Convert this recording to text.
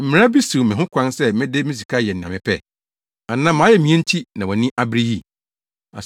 Mmara bi siw me ho kwan sɛ mede me sika yɛ nea mepɛ? Anaasɛ mʼayamye nti na wʼani abere yi?’